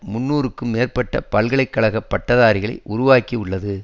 முன்னூறுக்கும் மேற்பட்ட பல்கலை கழக பட்டதாரிகள் உருவாக்கியுள்ளது